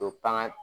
O panga